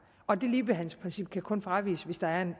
og det ligebehandlingsprincip kan kun fraviges hvis der er